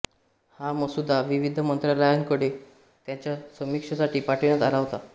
हा मसुदा विविध मंत्रालयांकडे त्याच्या समीक्षेसाठी पाठविण्यात आला होता